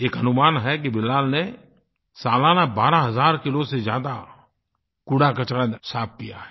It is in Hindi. एक अनुमान है कि बिलाल ने सालाना 12 हज़ार किलो से ज़्यादा कूड़ाकचरा साफ़ किया है